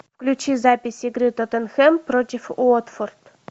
включи запись игры тоттенхэм против уотфорд